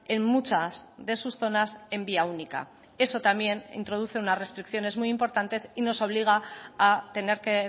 en muchas de sus zonas en vía única eso también introduce unas restricciones muy importantes y nos obliga a tener que